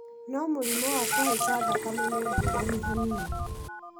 no mũrimũ wa kũhaica thakame ni ngũrani hanini